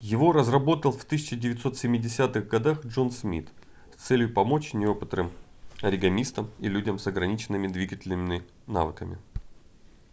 его разработал в 1970-х годах джон смит с целью помочь неопытным оригамистам и людям с ограниченными двигательными навыками